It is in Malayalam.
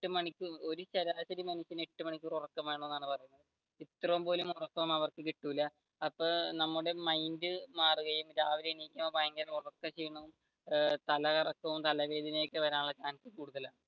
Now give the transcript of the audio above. എട്ടു മണിക്കൂർ ഒരു ശരാശരി മനുഷ്യന് എട്ടു മണിക്കൂർ ഉറക്കം വേണമെന്നാണ് ഇത്രയും പോലും ഉറക്കമൊന്നും അവർക്ക് കിട്ടില്ല അപ്പൊ നമ്മുടെ മൈൻഡ് മാറുകയും രാവിലെ എനിക്കുമ്പോൾ ഭയങ്കര ഉറക്ക ക്ഷീണവും, തലകറക്കവും, തലവേദന ഒക്കെ വാരാനുളള chance കൂടുതലാണ്